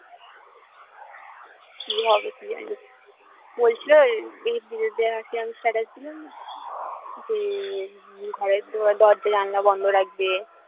কি যে হবে কি জানি বলছিলো status দিলাম না যে ঘরের দরজা জানলা বন্ধ রাখবে